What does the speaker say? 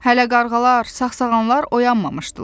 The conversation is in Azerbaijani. Hələ qarğalar, sağsağanlar oyanmamışdılar.